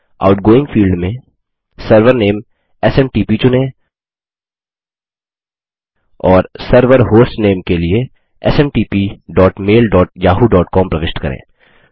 outgoing field में server name SMTP चुनें और सर्वर होस्टनेम के लिए smtpmailyahooकॉम प्रविष्ट करें